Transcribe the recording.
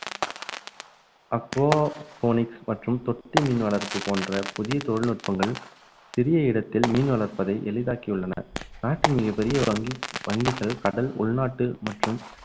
Phoenix மற்றும் தொட்டி மீன் வளர்ப்பு போன்ற புதிய தொழில்நுட்பங்கள் சிறிய இடத்தில் மீன் வளர்ப்பதை எளிதாக்கி உள்ளன நாட்டின் மிகப் பெரிய ஒரு வங்~ வங்கிகள் கடல் உள்நாட்டு மற்றும்